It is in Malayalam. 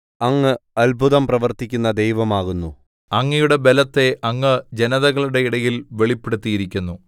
അങ്ങ് അത്ഭുതം പ്രവർത്തിക്കുന്ന ദൈവം ആകുന്നു അങ്ങയുടെ ബലത്തെ അങ്ങ് ജനതകളുടെ ഇടയിൽ വെളിപ്പെടുത്തിയിരിക്കുന്നു